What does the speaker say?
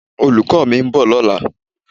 Olùkọ́ mi ń bọ̀ lọ́la.